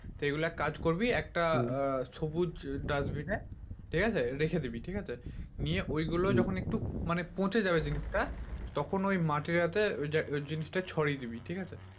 তো এগুলো এক কাজ করবি একটা সবুজ dustbin এ ঠিকাছে রেখে দিবি ঠিকাছে নিয়ে ঐগুলো যখন একটু মানে পচে যাবে জিনিসটা তখন ওই মাটিটা তে ওইটা ওই জিনিসটা ছড়িয়ে দিবি ঠিকাছে